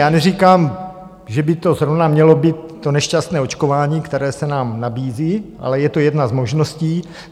Já neříkám, že by to zrovna mělo být to nešťastné očkování, které se nám nabízí, ale je to jedna z možností.